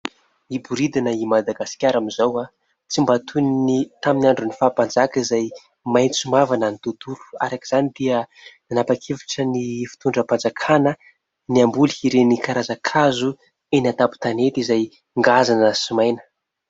Miboridana i Madagasikara amin'izao, tsy mba toy ny tamin'ny andron'ny faha-mpanjaka izay maitso mavana ny tontolo. Araka izany dia nanapa-kevitra ny fitondram-panjakana ny hamboly ireny karazan-kazo eny an-tampon-tanety izay ngazana sy maina.